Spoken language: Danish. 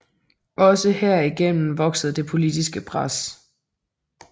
Også herigennem voksede det politiske pres